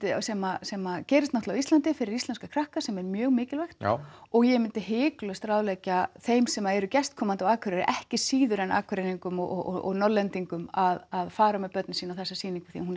sem sem gerist á Íslandi fyrir íslenska krakka sem er mjög mikilvægt og ég myndi hiklaust ráðleggja þeim sem eru gestkomandi á Akureyri ekki síður en Akureyringum og Norðlendingum að fara með börnin sín á þessa sýningu því hún